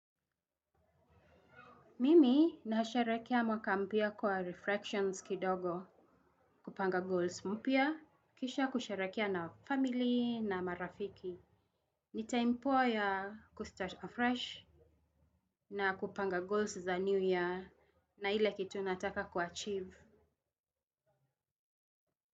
Mimi nasherehekea mwaka mpya kwa Reflections kidogo kupanga goals mpya kisha kusherehekea na family na marafiki. Ni time poa ya kustart afresh na kupanga goals za new year na ile kitu nataka ku achieve.